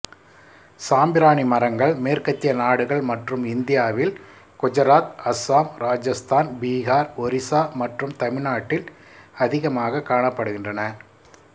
சாம்பிராணி மரங்கள் மேற்கத்திய நாடுகள் மற்றும் இந்தியாவில் குஜராத் அஸ்ஸாம் ராஜஸ்தான் பீகார் ஒரிஸா மற்றும் தமிழ்நாட்டில் அதிமாக காணப்படுகின்றன